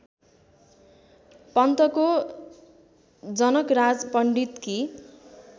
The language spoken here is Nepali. पन्तको जनकराज पण्डितकी